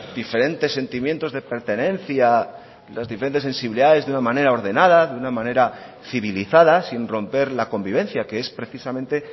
diferentes sentimientos de pertenencia las diferentes sensibilidades de una manera ordenada de una manera civilizada sin romper la convivencia que es precisamente